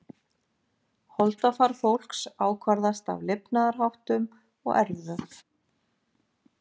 Holdafar fólks ákvarðast af lifnaðarháttum og erfðum.